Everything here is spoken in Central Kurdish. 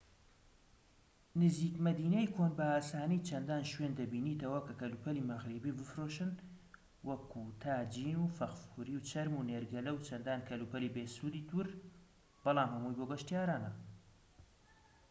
نزیک مەدینەی کۆن بە ئاسانی چەندان شوێن دەبینیتەوە کە کەلوپەلی مەغریبی بفرۆشن وەکو تاجین و فەخفوری و چەرم و نێرگەلە و چەندان کەلوپەلی بێسوودی تر بەلام هەمووی بۆ گەشتیارانە